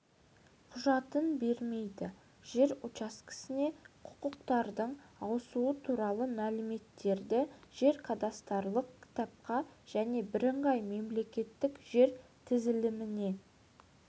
құжатын бермейді жер учаскесіне құқықтардың ауысуы туралы мәліметтерді жер-кадастрлық кітапқа және бірыңғай мемлекеттік жер тізіліміне